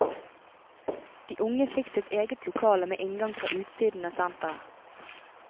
De unge fikk sitt eget lokale med inngang fra utsiden av senteret.